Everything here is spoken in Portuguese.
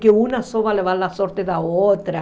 Que uma só vai levar a sorte da outra.